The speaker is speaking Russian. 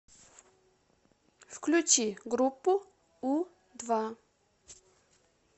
включи группу у два